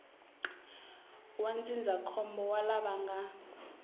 wa ndzindzakhombo wa lava nga